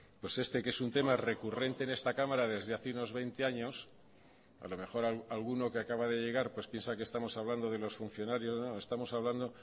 pues este que es un tema recurrente en esta cámara desde hace unos veinte años a lo mejor alguno que acaba de llegar piensa que estamos hablando de los funcionarios no estamos hablando